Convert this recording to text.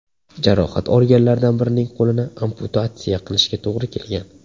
Jarohat olganlardan birining qo‘lini amputatsiya qilishga to‘g‘ri kelgan.